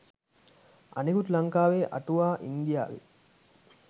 අනෙකුත් ලංකාවේ අටුවා ඉන්දියාවේ